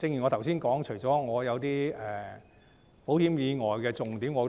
正如我剛才所說，我除了覺得一些保險以外的重點很